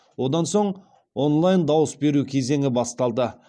одан соң онлайн дауыс беру кезеңі басталды